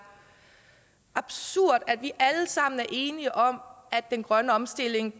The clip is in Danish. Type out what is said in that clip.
absurd vi er alle sammen enige om at den grønne omstilling